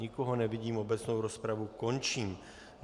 Nikoho nevidím, obecnou rozpravu končím.